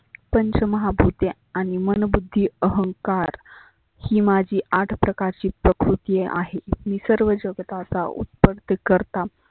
पंच महा भुते आणि मनवृत्ती अहंकार ही माझी आठ प्रकारची प्रकृती आहे. ही सर्व जगताचा उ करता.